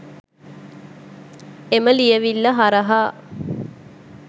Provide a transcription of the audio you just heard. එම ලියවිල්ල හරහා